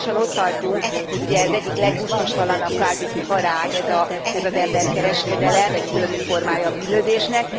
Most már lassan ott tartunk, hogy az egyik leggusztustalanabb kvázi iparág ez az emberkereskedelem, egy szörnyű formája a bűnözésnek.